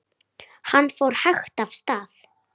Hann fór hægt af stað.